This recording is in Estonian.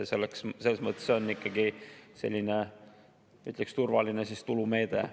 See on selles mõttes ikkagi selline, ütleksin, turvaline tulumeede.